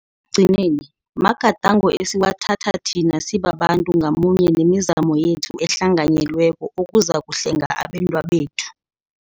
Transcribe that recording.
gcineni, magadango esiwathatha thina sibabantu ngamunye nemizamo yethu ehlanganyelweko okuzakuhlenga abentwabethu.